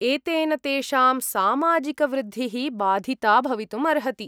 एतेन तेषां सामाजिकवृद्धिः बाधिता भवितुम् अर्हति।